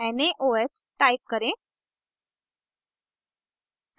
naoh type करें